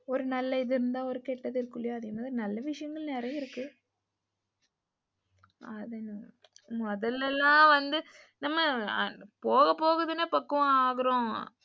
ஒரு நல்ல இது இருந்தா ஒரு கெட்டது இருக்குலயா நல்லா விஷயங்கள் நெறையா இருக்கு முதலெல்லாம் வந்து நம்ம போகபோகதான பக்குவம் ஆகுறோம்.